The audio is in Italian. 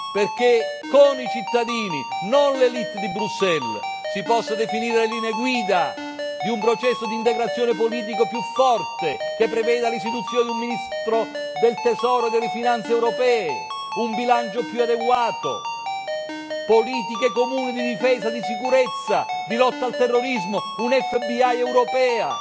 Perché con i cittadini, non l'élite di Bruxelles, si possano definire le linee guida di un processo di integrazione politico più forte, che preveda l'istituzione di un ministro del Tesoro e delle finanze europee, un bilancio più adeguato, politiche comuni di difesa e di sicurezza, di lotta al terrorismo, una FBI europea,